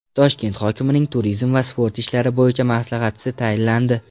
Toshkent hokimining turizm va sport ishlari bo‘yicha maslahatchisi tayinlandi.